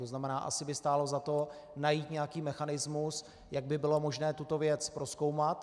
To znamená, asi by stálo za to najít nějaký mechanismus, jak by bylo možné tuto věc prozkoumat.